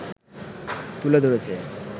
তুলে ধরেছে